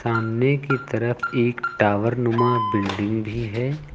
सामने की तरफ एक टावर नुमा बिल्डिंग भी है।